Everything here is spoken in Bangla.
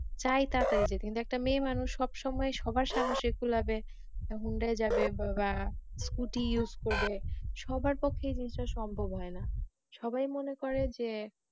চায় তাড়াতাড়ি যেতে কিন্তু একটা মেয়ে মানুষ সবসময় সবার সামনে হোন্ডায় যাবে বা scootyuse করবে সবার পক্ষে ই জিনিসটা সম্ভব হয়না, সবাই মনে করে যে